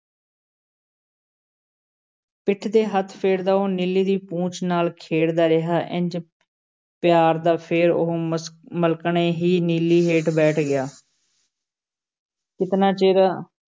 ਪਿੱਠ 'ਤੇ ਹੱਥ ਫੇਰਦਾ ਉਹ ਨੀਲੀ ਦੀ ਪੂਛ ਨਾਲ਼ ਖੇਡਦਾ ਰਿਹਾ, ਇੰਞ ਪਿਆਰਦਾ ਫੇਰ ਉਹ ਮਸ~ ਮਲਕਣੇ ਹੀ ਨੀਲੀ ਹੇਠ ਬੈਠ ਗਿਆ ਕਿਤਨਾ ਚਿਰ